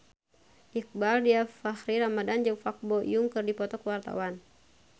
Iqbaal Dhiafakhri Ramadhan jeung Park Bo Yung keur dipoto ku wartawan